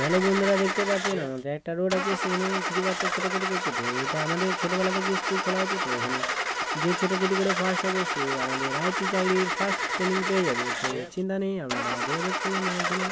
Hello বন্ধুরা দেখতে পাচ্ছেন আমাদের একটা রোড আছে সেখানে কিছু বাচ্চা ছোটাছুটি করছে তো এটা আমাদের ছোটবেলা থেকে স্কুল খোলা আছে তো এখানে যে ছোটাছুটি করে ফার্স্ট হবে সে আমাদের আই.পি চাকরির ফার্স্ট ট্রেনিং পেয়ে যাবে। তো চিন্তা নেই আপনারা যোগাযোগ করুন আর একেনে।